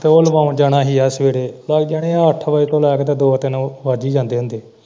ਉਹ ਲਵਾਉਣ ਜਾਣਾ ਹੀ ਯਾਰ ਸਵੇਰੇ ਚੱਲ ਜਾਣੇ ਹੈ ਸਵੇਰੇ ਅੱਠ ਵਜੇ ਤੋਂ ਲੈ ਕੇ ਤੇ ਦੋ ਤਿੰਨ ਵੱਜ ਹੀ ਜਾਂਦੇ ਹੁੰਦੇ।